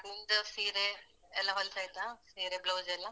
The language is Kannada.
ನಿಮ್ದ್ ಸೀರೆ, ಎಲ್ಲಾ ಹೊಲ್ಸ್ ಆಯ್ತಾ? ಸೀರೆ, blouse ಎಲ್ಲ?